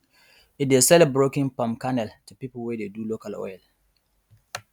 e dey sell broken palm kernel to people wey dey do local oil